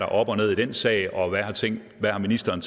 op og ned i den sag og hvad ministeren